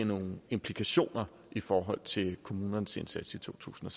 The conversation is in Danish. nogle implikationer i forhold til kommunernes indsats i totusinde